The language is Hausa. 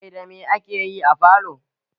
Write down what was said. Mai da mai ake yi a falo?